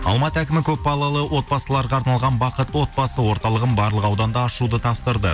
алматы әкімі көпбалалы отбасыларға арналған бақытты отбасы орталығын барлық ауданда ашуды тапсырды